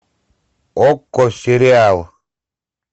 окко сериал